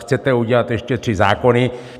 Chcete udělat ještě tři zákony.